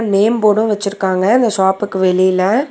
Name board வச்சுருக்காங்க அந்த ஷாப்க்கு வெளில.